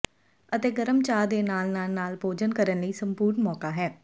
ਅਤੇ ਗਰਮ ਚਾਹ ਦੇ ਨਾਲ ਨਾਲ ਨਾਲ ਭੋਜਨ ਕਰਨ ਲਈ ਸੰਪੂਰਣ ਮੌਕਾ ਹੈ